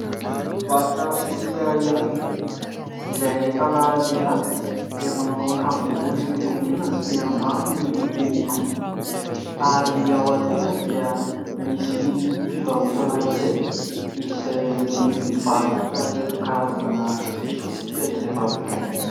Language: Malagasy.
Mpivarotra solika iray izay ahitana lehilahy izay manao akanjo ambony miloko mena sy ambany miloko mainty ary aoriana dia misy fivarotana iray izay mety mivarotra ireo karazana solika izay varotana.